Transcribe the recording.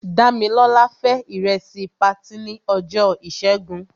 Dámilọ́lá fé ìrẹsì patí ní ọjọ́ ìṣẹ́gun.